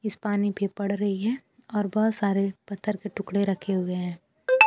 इस पानी पे पड़ रही है और बहुत सारे पत्थर के टुकड़े रखे हुए हैं।